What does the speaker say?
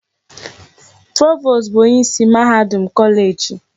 Provost bụ onyeisi mahadum kọleeji.